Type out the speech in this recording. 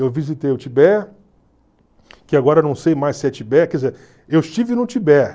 Eu visitei o Tibete, que agora não sei mais se é Tibete, quer dizer, eu estive no Tibete.